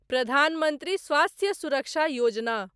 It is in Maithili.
प्रधान मंत्री स्वास्थ्य सुरक्षा योजना